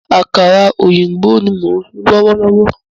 Àkàrà òyìnbó ní mo ń sun lọ́wọ́lọ́wọ́